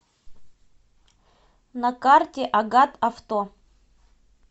на карте агат авто